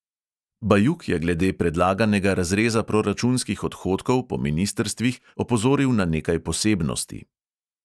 Bajuk je glede predlaganega razreza proračunskih odhodkov po ministrstvih opozoril na nekaj posebnosti.